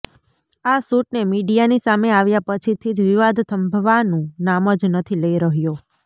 આ સૂટને મીડિયાની સામે આવ્યા પછીથી જ વિવાદ થંભવાનુ નામ જ નથી લઈ રહ્યો